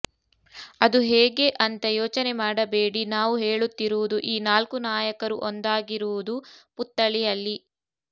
ಅದು ಹೇಗೆ ಅಂತ ಯೋಚನೆ ಮಾಡಬೇಡಿ ನಾವು ಹೇಳುತ್ತಿರುವುದು ಈ ನಾಲ್ಕು ನಾಯಕರು ಒಂದಾಗಿರುವುದು ಪುತ್ಥಳಿಯಲ್ಲಿ